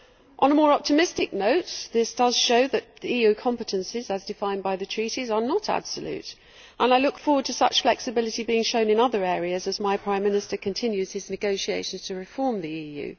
On a more optimistic note, this does show that EU competences as defined by the Treaties are not absolute, and I look forward to such flexibility being shown in other areas as my Prime Minister continues his negotiations to reform the EU.